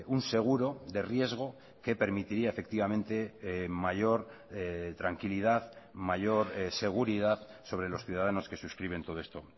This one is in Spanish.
un seguro de riesgo que permitiría efectivamente mayor tranquilidad mayor seguridad sobre los ciudadanos que suscriben todo esto